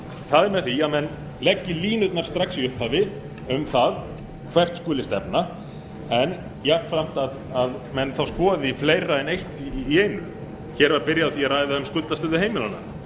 það er með því að menn leggi línurnar strax í upphafi um það hvert skuli stefna en jafnframt að menn þá skoði fleira en eitt í einu hér er byrjað á því að ræða um skuldastöðu heimilanna það var reyndar